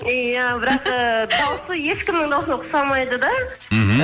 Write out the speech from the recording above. иә бірақ ыыы дауысы ешкімнің дауысына ұқсамайды да мхм